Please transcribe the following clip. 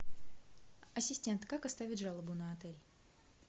ассистент как оставить жалобу на отель